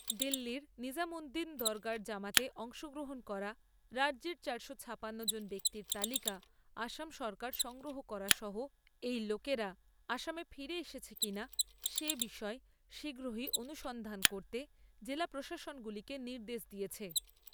দিল্লীর নিজামউদ্দিন দরগার জামাতে অংশগ্রহণ করা রাজ্যের চারশো ছাপান্ন জন ব্যাক্তির তালিকা আসাম সরকার সংগ্রহ করা সহ এই লোকেরা আসামে ফিরে এসেছে কিনা সে বিষয়ে শীঘ্রই অনুসন্ধান করতে জেলা প্রশাসনগুলিকে নির্দেশ দিয়েছে।